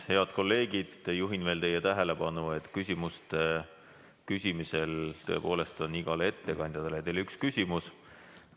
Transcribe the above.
Head kolleegid, juhin teie tähelepanu, et igale ettekandjale saate esitada ühe küsimuse.